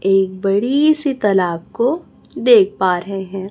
एक बड़ी सी तलाब को देख पा रहे हैं।